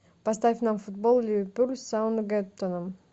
поставь нам футбол ливерпуль с саутгемптоном